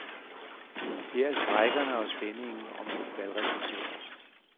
Her er strejkerne og spændingen om valgresultater.